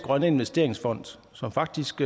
grønne investeringsfond som faktisk